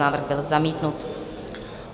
Návrh byl zamítnut.